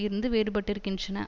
இருந்து வேறுபட்டிருக்கின்றன